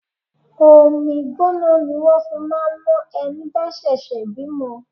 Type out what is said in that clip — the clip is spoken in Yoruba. Omi gbóná ni wón fi máa ń mo ẹni bá ṣẹ̀ṣẹ̀ bímọ.